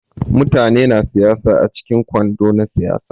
Mutane na siyaya a cikin kwando na siyayya.